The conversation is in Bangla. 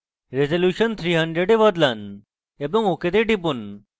রেজল্যুশন 300 এ বদলান এবং ok তে টিপুন